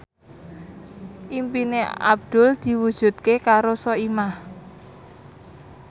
impine Abdul diwujudke karo Soimah